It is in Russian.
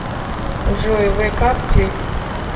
джой вэйк ап клип